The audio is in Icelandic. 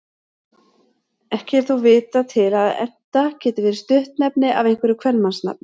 Ekki er þó vitað til að Enta geti verið stuttnefni af einhverju kvenmannsnafni.